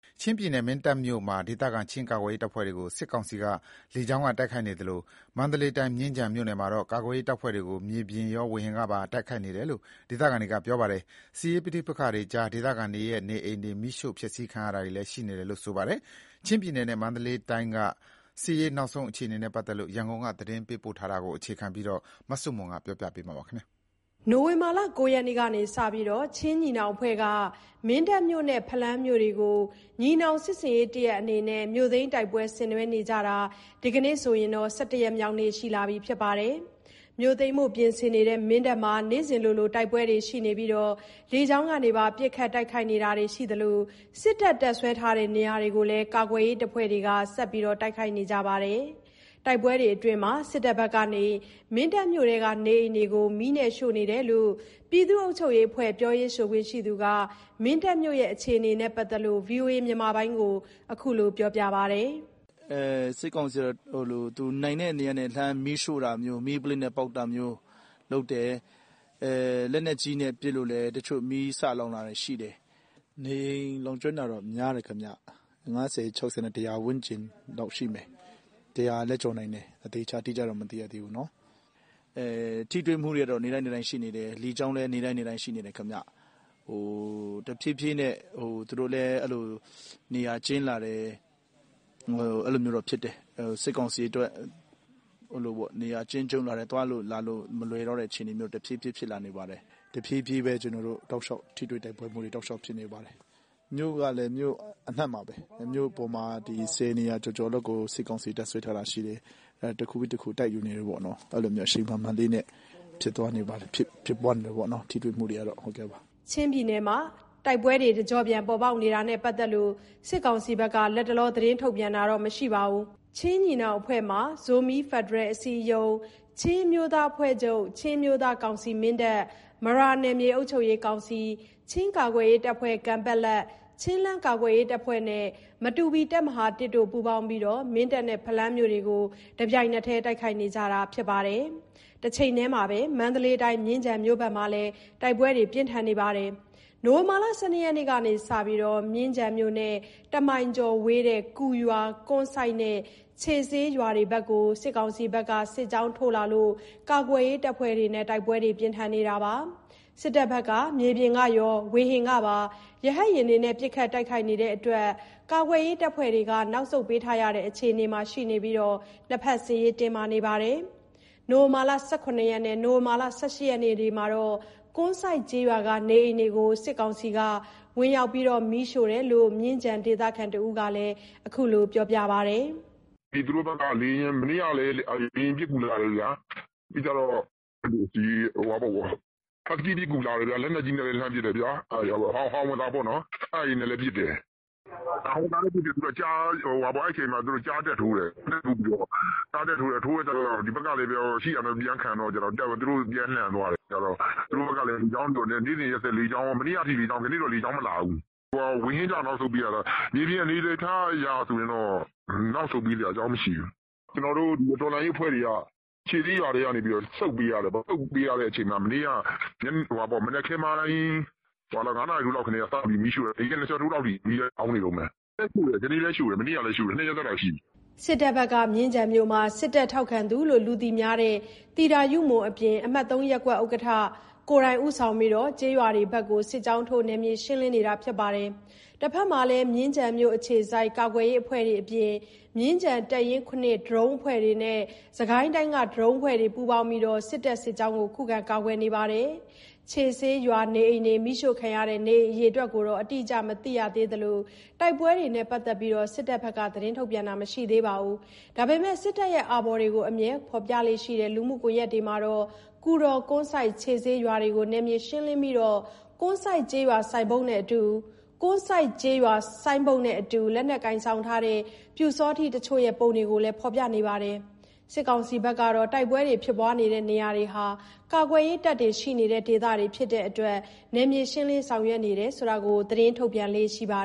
ချင်းပြည်နယ် မင်းတပ်မြို့မှာ ဒေသခံချင်းကာကွယ်ရေးတပ်ဖွဲ့တွေကို စစ်ကောင်စီက လေကြောင်းက တိုက်ခိုက်နေသလို မန္တလေးတိုင်း မြင်းခြံမြို့နယ်မှာတော့ ကာကွယ်ရေးတပ်ဖွဲ့တွေကို မြေပြင်ရော ဝေဟင်ကပါတိုက်ခိုက်နေတယ်လို့ ဒေသခံတွေက ပြောပါတယ်။ စစ်ရေးပဋိပက္ခတွေကြား ဒေသခံတွေ ရဲ့ နေအိမ်တွေ မီးရှို့ဖျက်ဆီးခံရတာတွေလည်း ရှိတယ်လို့ ပြောပါတယ်။ ချင်းပြည်နယ်နဲ့ မန္တလေးတိုင်းက စစ်ရေးနောက်ဆုံး အခြေအနေနဲ့ ပတ်သက်လို့ ရန်ကုန်က သတင်းပေးပို့ထားတာကို အခြေခံပြီး မဆုမွန် တင်ပြထားပါတယ်။ နိုဝင်ဘာ ၉ ရက်ကစလို့ ချင်းညီနောင်အဖွဲ့က မင်းတပ်မြို့နဲ့ ဖလမ်းမြို့တွေကို ညီနောင်စစ်ဆင်ရေး တရပ်အဖြစ်နဲ့ မြို့သိမ်းတိုက်ပွဲဆင်နွှဲနေကြတာဖြစ်ပြီး ဒီကနေ့ဆို ၁၁ ရက်မြောက်ရှိနေပြီဖြစ်ပါတယ်။ မြို့သိမ်းဖို့ပြင်ဆင်နေတဲ့ မင်းတပ်မြို့မှာ နေ့စဉ်လိုလိုတိုက်ပွဲတွေရှိနေပြီး လေကြောင်း ပစ်ခတ်ခံရတာတွေရှိနေပေမယ့် စစ်တပ် တပ်စွဲထားတဲ့နေရာတွေကို ကာကွယ်ရေး တပ်ဖွဲ့တွေက ဆက်လက်တိုက်ခိုက်နေကြပါတယ်။ တိုက်ပွဲအတွင်း စစ်တပ်ဘက်က မင်းတပ်မြို့က နေအိမ်တွေကိုမီးရှို့ခံရတာတွေရှိနေတယ်လို့လည်း ပြည်သူ့အုပ်ချုပ်ရေးအဖွဲ့ ပြောရေးဆိုခွင့်ရှိသူက မင်းတပ်မြို့အခြေအနေနဲ့ ပတ်သက်လို့ ဗွီအိုအေ မြန်မာပိုင်းကို အခုလို ပြောပါတယ်။ "စစ်ကောင်စီက နိုင်တဲ့နေရာကနေ လှမ်းမီးရှို့တာမျိုး၊ မီးပုလင်းနဲ့ပေါက်တာမျိုး လုပ်တယ်။ လက်နက်ကြီးနဲ့ပစ်လို့ တချို့မီးစလောင်တာတွေရှိတယ်။ နေအိမ်လောင်ကျွမ်းတာတော့ များတယ် ခင်ဗျ။ ၅၀-၆၀ နဲ့ ၁၀၀ ဝန်းကျင်လောက်တော့ရှိမယ်။ ၁၀၀ လည်းကျော်နိုင်မယ်။ အသေချာ အတိအကျတော့မသိရသေးဘူး။ ထိတွေ့မှုတွေကတော့ နေ့တိုင်းနေ့တိုင်း ရှိနေတယ်။ လေကြောင်း လည်း နေ့တိုင်းနေ့တိုင်း ရှိနေတယ်။ တဖြည်းဖြည်းနဲ့ သူတို့လည်း နေရာကျဉ်းလာတယ်။ စစ်ကောင်စီ အတွက် နေရာကျဉ်းကျုံ့လာပြီး သွားလို့လာလို့ မလွယ်တော့တဲ့အခြေအနေ တဖြည်းဖြည်း ဖြစ်လာနေတယ်။ တဖြည်းဖြည်းပဲ ထိတွေ့တိုက်ပွဲတွေ တောက်လျှောက်ဖြစ်နေပါတယ်။ မြို့ကလည်း မြို့အနှံ့ပါပဲ မြို့ပေါ်မှာ ၁၀ နေရာ ကျော်ကျော်လောက်ကို စစ်ကောင်စီ တပ်စွဲထားတာရှိတယ်။ တခုပြီးတခုတိုက်ယူနေတယ်ပေါ့။ အရှိန်မှန်မှန်လေးနဲ့ပဲ ထိတွေ့မှုတွေဖြစ်ပွားနေတယ်ပေါ့။" ချင်းပြည်နယ်မှာ တိုက်ပွဲတွေ တကျော့ပြန်ပေါ်ပေါက်နေတာနဲ့ပတ်သက်လို့ စစ်ကောင်စီဘက်က လတ်တလော သတင်းထုတ်ပြန်တာတော့မရှိသေးပါဘူး။ ချင်းညီနောင်အဖွဲ့မှာ ဇိုမီးဖက်ဒရယ်အစည်းအရုံး ၊ ချင်းအမျိုးသားအဖွဲ့ချုပ် ၊ ချင်းအမျိုးသား ကောင်စီ မရာနယ်မြေအုပ်ချုပ်ရေး ကောင်စီ၊ ချင်းကာကွယ်ရေးတပ်ဖွဲ့ ချင်းလဲန်ကာကွယ်ရေးတပ်ဖွဲ့ ၊ မတူပီတပ်မဟာ တို့ အတူပူပေါင်းပြီး မင်းတပ်နဲ့ ဖလမ်းမြို့တွေကို တပြိုင်နက်တည်း တိုက်ခိုက်နေကြတာပါ။ မန္တလေးတိုင်း မြင်းခြံဘက်မှာဆိုရင်လည်း နိုဝင်ဘာ ၁၂ ရက်ကစလို့ မြင်းခြံမြို့နဲ့ ၁ မိုင်ကျော်ဝေးတဲ့ ကူရွာ ၊ ကွမ်းစိုက် နဲ့ ခြေဆေးရွာတွေဘက်ကို စစ်တပ်ဘက်က စစ်ကြောင်းထိုးလာလို့ ကာကွယ်ရေး တပ်ဖွဲ့တွေနဲ့ တိုက်ပွဲဖြစ်နေတာပါ။ စစ်တပ်ဘက်က မြေပြင်ရော ဝေဟင်ကပါပစ်ခတ်လို့ ကာကွယ်ရေး တပ်ဖွဲ့တွေဘက်က နောက်ဆုတ်ပေးထားရတဲ့အခြေအနေမှာရှိနေပြီး စစ်ရေးတင်းမာနေပါတယ်။ နိုဝင်ဘာ ၁၇ ရက်နဲ့ ၁၈ ရက်မှာတော့ ကွမ်းစိုက်ကျေးရွာက နေအိမ်တွေကို စစ်တပ်ဘက် ဝင်ရောက် မီးရှို့တာတွေ ရှိတယ်လို့ မြင်းခြံဒေသခံတဦးက အခုလို ပြောပါတယ်။ "သူတို့ဘက်က မနေ့ကလည်း လေယာဉ်ပစ်ကူလာတယ်။ ဟတ်စကီးပစ်ကူလာတယ်။ လက်နက်ကြီး နဲ့လည်း လှမ်းပစ်တယ်။ ဟောင်ဝစ်ဇာပေါ့နော် အဲ့ဒါတွေနဲ့လည်း ပစ်တယ်။ အဲ့အချိန်မှာ ကျားတက်ထိုး တယ်။ ကျားတက်ထိုးတော့ ဒီဘက်ကလည်း ရှိတာနဲ့ ခုခံတော့ သူတို့ပြန်လန်သွားတယ်။ သူတို့ဘက်က နေ့စဉ်ရက်ဆက် မနေ့ကထိလေကြောင်းလာတယ်။ ဒီနေ့တော့ လေကြောင်းမလာဘူး။ ဝေဟင်ကြောင့် အနောက်ဆုတ်ပေးရတာ။ မြေပြင်အနေအထားကြောင့်ဆို နောက်ဆုတ်ပေးစရာ အကြောင်းမရှိဘူး။ တော်လှန်ရေးအဖွဲ့တွေက ခြေဆေးရွာထဲက ဆုတ်ပေးရတယ်ပေါ့။ ဆုတ်ပေးရတဲ့အချိန်မှာ မနေ့က မနက်ခင်းပိုင်း ၅ နာရီထိုးလောက်ကတည်းကစတင်ပြီး မီးရှို့တာ။ နေ့ခင်း ၂ ချက်ထိုးလောက်အထိ မီးက လောင်နေတုန်းပဲ။ ကနေ့လည်းရှို့တယ်။ မနေ့ကလည်းရှို့တယ်။ ၂ ရက် ဆက်တိုက်ရှိပြီ။" စစ်တပ်ဘက်က မြင်းခြံမြို့မှာ စစ်တပ်ထောက်ခံသူအဖြစ် လူသိများတဲ့ သီတာယုမွန်အပြင် အမှတ် ရပ်ကွက်ဥက္ကဋ္ဌတို့ ဦးဆောင်ပြီး ကျေးရွာတွေဘက်ကို စစ်ကြောင်းထိုး နယ်မြေရှင်းလင်းနေပါတယ်။ တဖက်မှာလည်း မြင်းခြံမြို့အခြေစိုက်ကာကွယ်ရေးအဖွဲ့တွေအပြင် မြင်းခြံ တပ်ရင်း ဒရုန်းအဖွဲ့တွေ နဲ့ စစ်ကိုင်းတိုင်းက ဒရုန်းအဖွဲ့တွေပူးပေါင်းပြီး စစ်တပ်စစ်ကြောင်းကို ခုခံကာကွယ်နေတာလည်း ဖြစ်ပါတယ်။ ခြေဆေးရွာ နေအိမ်တွေ မီးရှို့ခံရတဲ့ နေအိမ်အရေအတွက် အတိအကျမသိရသေးသလို တိုက်ပွဲနဲ့ ပတ်သက်ပြီး စစ်ကောင်စီဘက်က သတင်းထုတ်ပြန်တာမရှိသေးပေမယ့် စစ်တပ် အာဘော်တွေ အမြဲဖော်ပြနေတဲ့ လူမှုကွန်ယက် စာမျက်နှာတွေမှာတော့ ကူတော်၊ ကွမ်းစိုက်နဲ့ ခြေဆေးရွာတွေကို နယ်မြေရှင်းလင်းနိုင်ခဲ့ပြီး ကွမ်းစိုက်ကျေးရွာဆိုင်းဘုတ်နဲ့အတူ လက်နက်ကိုင်ဆောင်ထားတဲ့ ပျူစောထီးအချို့ ရဲ့ပုံတွေကို ဖော်ပြထားပါတယ်။ စစ်ကောင်စီဘက်ကတော့ တိုက်ပွဲတွေဖြစ်ပွားနေတဲ့နေရာတွေဟာ ကာကွယ်ရေးတပ်တွေရှိနေတဲ့ ဒေသတွေဖြစ်တဲ့အတွက် နယ်မြေရှင်းလင်းဆောင်ရွက်နေတယ်ဆိုတာကို သတင်းထုတ်ပြန်လေ့ရှိပါ